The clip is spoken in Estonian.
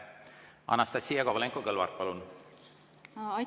Anastassia Kovalenko-Kõlvart, palun!